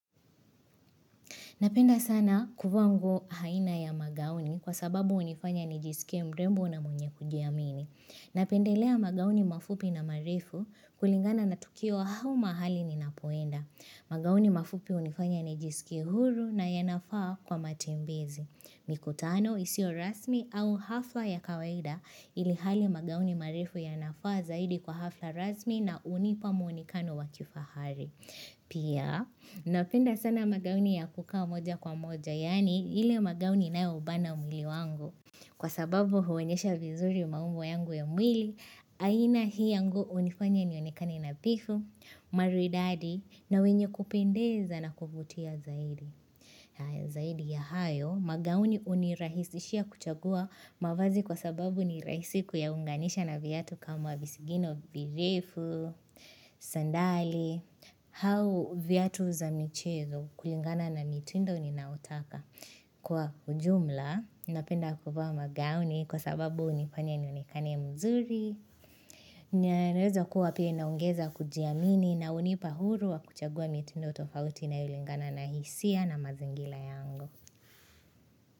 Napenda sana kufaa nguo aina ya magauni kwa sababu unifanya nijisikie mrembo na mwenye kujiamini. Napendelea magauni mafupi na marefu kulingana na tukio au mahali ninapoenda. Magauni mafupi unifanya nijisike huru na yanafaa kwa matembezi. Mikutano isio rasmi au hafla ya kawaida ilihali magauni marefu yanafaa zaidi kwa hafla rasmi na unipa muonekano wa kifahari. Pia napenda sana magauni ya kukaa moja kwa moja yaani ile magauni inayoubana mwili wangu Kwa sababu huonyesha vizuri maumbo yangu ya mwili aina hii ya nguo unifanya nionekane nadhifu, maridadi na mwenye kupendeza na kuvutia zaidi, Zaidi ya hayo magauni unirahisishia kuchagua mavazi kwa sababu ni rahisi kuyaunganisha na viatu kama visigino virefu, sandali au viatu za michezo kulingana na mitindo ninaotaka kwa ujumla, ninapenda kufaa magauni kwa sababu unifanya nionekane mzuri na inaweza kuwa pia inaongeza kujiamini na unipa huru wa kuchagua mitindo tofauti inayolingana na hisia na mazingira yangu.